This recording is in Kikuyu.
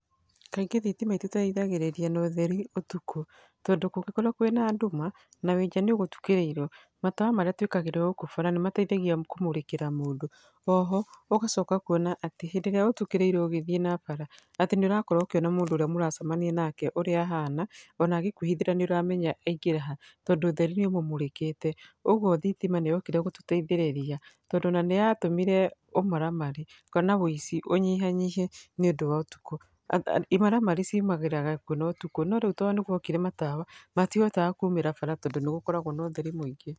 Kaingĩ thitima itũteithagĩrĩria na ũtheri ũtukũ. Tondũ kũngĩkorwo kwĩna nduma, na wĩ nja nĩũgũtukĩrĩirwo, matawa marĩa twĩkagĩrwo gũkũ bara nĩ mateithagia kũmũrĩkĩra mũndũ. Oho, ũgacoka ũkona atĩ hĩndĩ ĩrĩa ũtukĩrĩirwo ũgĩthiĩ na bara, atĩ nĩ ũrakorwo ũkĩona mũndũ ũrĩa mũracemania nake, ũrĩa ahana ona agĩkwĩhithĩra nĩ ũramenya aingĩra ha, tondũ ũtheri nĩ ũmũmũrĩkĩte. Ũguo thitima nĩ yokire gũtũteithĩrĩria. Tondũ ona nĩyatũmire ũmaramari kana ũici ũnyihanyihe nĩ ũndũ wa ũtukũ. Imaramari ciumagĩra kwĩna ũtukũ, no rĩu tondũ nĩ guokire matawa, matihotaga kuumĩra bara tondũ nĩgũkoragwo na ũtheri mũingĩ.